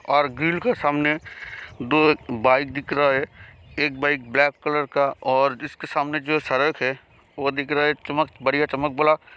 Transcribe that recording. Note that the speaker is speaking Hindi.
और ग्रिल कर सामने दो एक बाइक देख रहा है एक बाइक ब्लाक कलर की और इसके सामने जो है वह देख रहा है चमक बड़ीया चमक वाला।